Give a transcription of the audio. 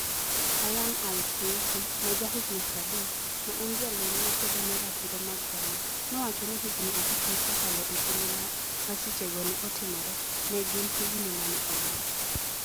Hayyan Al-Siufi, ma jahigini 30, ma en jalweny ma kedo ne ratiro mag dhano, nowacho ni higini abich mosekalo e kinde ma masichego ne otimore, ne gin "higini ma ne olal".